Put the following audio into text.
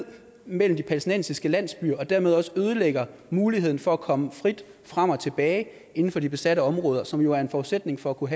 mellem de palæstinensiske landsbyer og dermed også ødelægger muligheden for at komme frit frem og tilbage inden for de besatte områder som jo er en forudsætning for at kunne